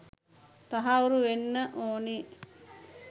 තහවුරු වෙන්න ඕනි.